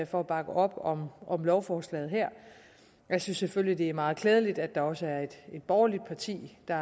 for at bakke op om om lovforslaget her jeg synes selvfølgelig at det er meget klædeligt at der også er et borgerligt parti der